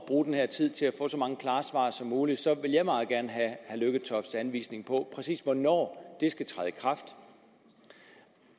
bruge den her tid til at få så mange klare svar som muligt vil jeg meget gerne have herre lykketofts anvisning på præcis hvornår det skal træde i kraft